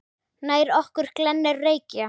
Nær okkur glennir Reykja